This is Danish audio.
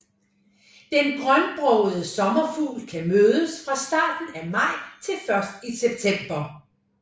Den grønbrogede sommerfugl kan mødes fra starten af maj til først i september